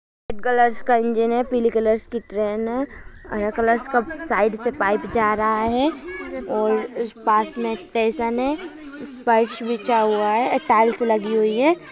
Red colour का engine है पिली कलर की ट्रेन है साइड से पाइप जा रहा है और पास मै स्टेशन है फर्श बिछा हुआ है टाइल्स लगी हुइ है।